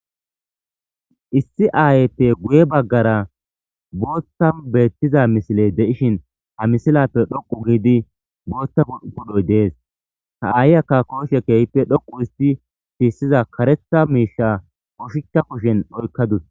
Issi aayeyppe guye baggara bootta beettiza misiley de7ishin ha misilappe dhoqu giidi boottapu7upudhoy dees ha aayi akka kooshe keehppe dhoqu isti tiissiza karetha miisha koshica kushen oykkadus.